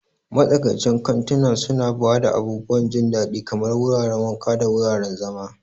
Matsakaicin kantuna suna ba da abubuwan jin daɗi kamar wuraren wanka da wuraren zama.